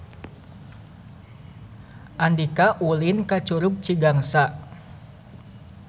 Andika ulin ka Curug Cigangsa